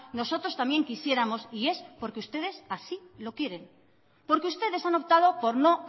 nosotros también quisiéramos y es porque ustedes así lo quieren porque ustedes han optado por no